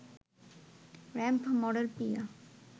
ramp model Piya